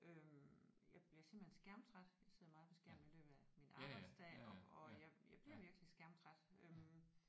Øh jeg bliver simpelthen skærmtræt jeg sidder meget på skærmen i løbet af min arbejdsdag og og jeg jeg bliver virkelig skærmtræt øh